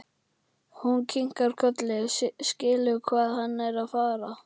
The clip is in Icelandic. Hún kinkar kolli, skilur hvað hann er að fara.